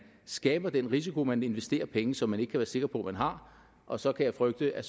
skaber den risiko at man investerer penge som man ikke kan være sikker på man har og så kan jeg frygte at